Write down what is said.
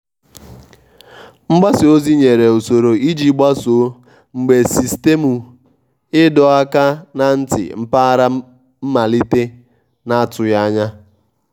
mgbasa ozi nyere usoro iji gbasoo mgbe sistemụ ịdọ aka ná ntị mpaghara malitere na atụghị anya